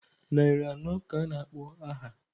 Narị anọ ka a na-akpọ aha.